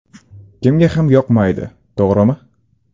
Kimga ham yoqmaydi, to‘g‘rimi?